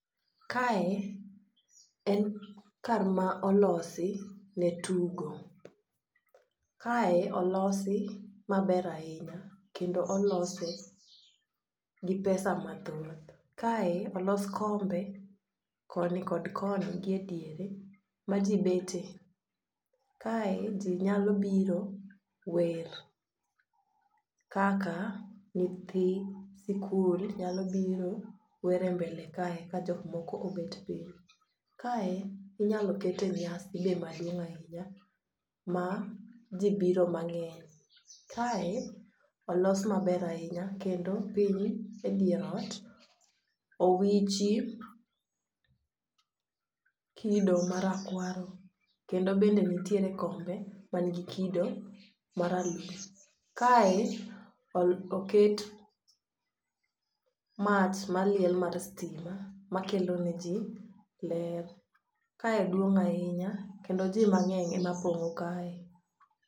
Kae en kar ma olosi ne tugo. Kae olosi maber ahinya kendo olose gi pesa mathoth. Kae olos kombe koni kod koni gi e diere ma jii bete. Kae jii nyalo biro wer kaka nyithi sikul nyalo biro were mbele kae ka jok moko obet piny. Kae inyalo kete nyasi be maduong' ahinya ma jii biro mang'eny. Kae olos maber ahinya kendo piny e dier ot owichi kido marakwaro kendo bende nitiere kombe man gi kido maralum. Kae o oket mach maliel mar stima makelo ne jii ler kae duong' ahinya kendo jii mang'eny ema pong'o kae.